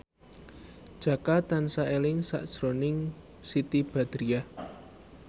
Jaka tansah eling sakjroning Siti Badriah